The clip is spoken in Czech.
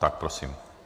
Tak prosím.